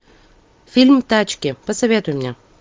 фильм тачки посоветуй мне